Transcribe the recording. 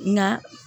Nka